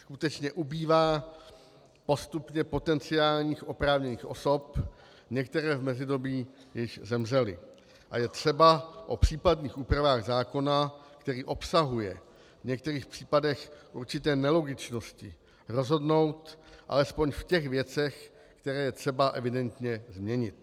Skutečně ubývá postupně potenciálních oprávněných osob, některé v mezidobí již zemřely, a je třeba o případných úpravách zákona, který obsahuje v některých případech určité nelogičnosti, rozhodnout alespoň v těch věcech, které je třeba evidentně změnit.